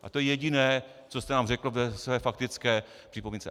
A to je jediné, co jste nám řekl ve své faktické připomínce.